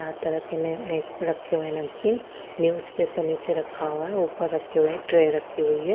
यहाँ तरह की नयी रखी हुई है नमकीन नेउच्चपर रखा हुआ है ऊपर रखे हुए ट्रे रखी हुई है।